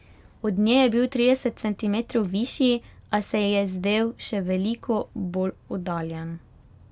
Od nje je bil trideset centimetrov višji, a se ji je zdel še veliko bolj oddaljen.